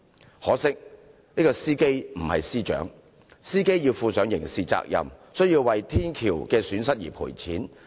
只可惜，司機不是司長，所以要負上刑事責任，亦要為捐毀的天橋作出賠償。